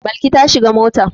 Balki ta shiga mota.